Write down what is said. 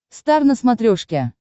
стар на смотрешке